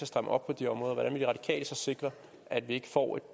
stramme op på de områder hvordan vil de radikale så sikre at vi ikke får et